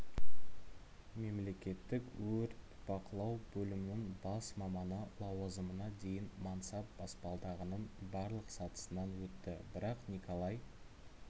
мемлекеттік өрт бақылау бөлімінің бас маманы лауазымына дейін мансап баспалдағының барлық сатысынан өтті бірақ николай